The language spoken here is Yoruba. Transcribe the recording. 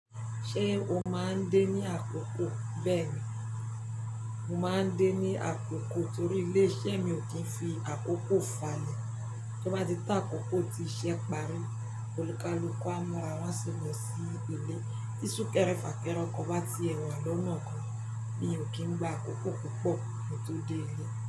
Ṣé o máa ń dé ní àkókò? Bẹ́ẹ̀ni, mo máa ń dé ní àkókò torí ilé-iṣẹ́ mi ò kí n fi àkókò fàlẹ̀. Tí ó bá ti to akókó ti iṣẹ́ parí, olùkàlùku a máa rán, a ṣi maa lo sí ìlẹ̀. Tí súnkẹrẹ fàkẹrẹ ọkọ̀ bá ti ẹ̀ wa lọ́wọ́ ọkọ̀, mi ò kì í gba àkókò púpọ̀ kí n tó dé ilé.